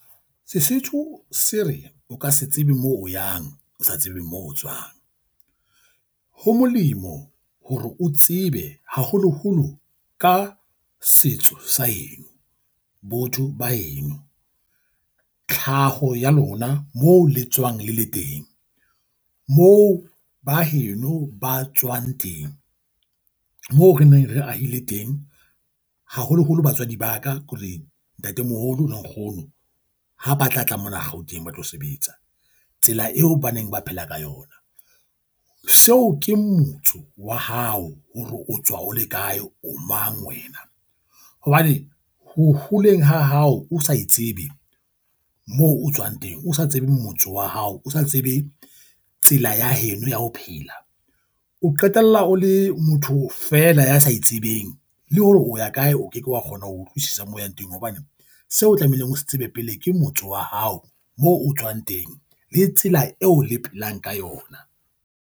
Sesotho se re o ka se tsebe moo o yang, o sa tsebe moo tswang. Ho molemo hore o tsebe haholoholo ka setso sa heno, botho ba heno. Tlhaho ya lona moo le tswang le le teng, moo baheno ba tswang teng. Moo re neng re ahile teng, haholoholo batswadi ba ka ke hore ntatemoholo le nkgono ha ba tla tla mona Gauteng, ba tlo sebetsa. Tsela eo ba neng ba phela ka yona. Seo ke motso wa hao hore o tswa o le kae, o mang wena. Hobane ho holeng ha hao o sa e tsebe, moo o tswang teng, o sa tsebe motse wa hao, o sa tsebe tsela ya heno ya ho phela. O qetella o le motho fela ya sa e tsebeng le hore o ya kae o ke ke wa kgona ho utlwisisa mo yang teng. Hobane seo o tlamehileng ho se tseba pele, ke motso wa hao moo o tswang teng le tsela eo le phelang ka yona.